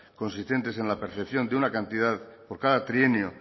consistentes en la percepción de una cantidad por cada trienio